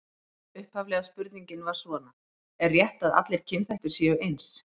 Upphaflega spurningin var svona: Er rétt að allir kynþættir séu eins?